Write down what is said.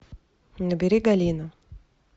набери галина